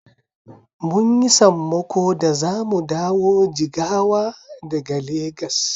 Mun yi sammako da zamu dawo Jigawa daga Legas.